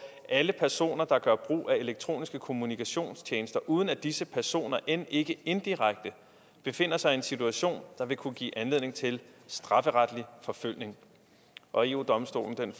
alle personer der gør brug af elektroniske kommunikationstjenester uden at disse personer end ikke indirekte befinder sig i en situation der vil kunne give anledning til strafferetlig forfølgning og eu domstolen